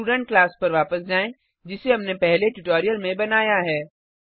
student class पर वापस जाएँ जिसे हमने पहले ट्यूटोरियल में बनाया है